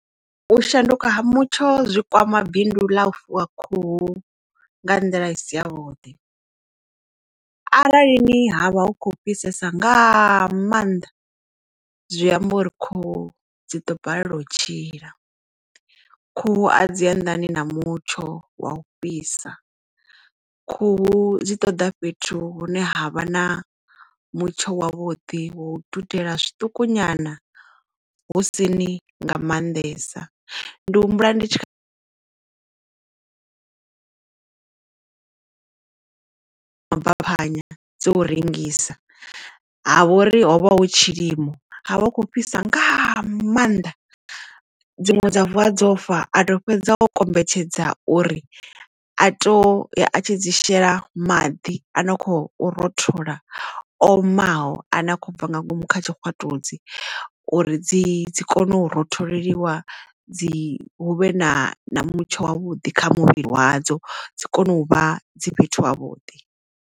U shanduka ha mutsho zwi kwama bindu ḽa u fuwa khuhu nga nḓila i si ya vhuḓi, arali ni havha hu khou fhisesa nga maanḓa zwi amba uri khuhu dzi ḓo balelwa u tshila. Khuhu a dzi anḓani na mutsho wa u fhisa khuhu dzi ṱoḓa fhethu hune havha na mutsho wa vhuḓi wa u dudela zwiṱuku nyana husini nga maanḓesa ndi humbula ndi tshi kha mabaphanya dzo u rengisa ha vhori hovha hu tshilimo ha vha hukho fhisa nga mannḓa dziṅwe dza vuwa dzofa ato fhedza o kombetshedza uri a to a tshi dzi shela maḓi a no kho rothola omaho a ne a khou bva nga ngomu kha tshikwatudzi uri dzi kone u ro tholeliwa dzi huvhe na mutsho wa vhuḓi kha muvhili wadzo dzi kone u vha dzi fhethu ha vhuḓi.